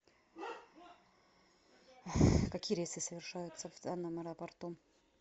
какие рейсы совершаются в данном аэропорту